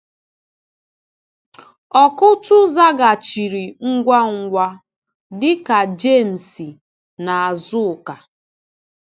Ọkụ́tụ̀ zaghachiri ngwa ngwa, dịka Jémes na Azụ́ká.